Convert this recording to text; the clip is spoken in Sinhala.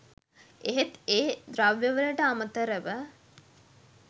එහෙත් ඒ ද්‍රව්‍යවලට අමතරව